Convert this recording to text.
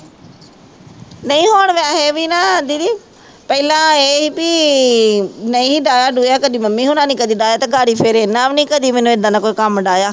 ਨਹੀਂ ਹੁਣ ਵੈਸੇ ਵੀ ਨਾ ਦੀਦੀ ਪਹਿਲਾਂ ਇਹ ਵੀ ਨਹੀਂ ਡਾਇਆ ਡੂੂਇਆ ਕਦੇ ਮੰਮੀ ਹੋਣਾਂ ਨੀ ਕਦੇ ਡਾਇਆ ਤੇ ਡੈਡੀ ਫਿਰ ਇਹਨਾਂ ਵੀ ਨੀ ਕਦੇ ਮੈਨੂੰ ਏਦਾਂ ਦਾ ਕੋਈ ਡਾਹਿਆ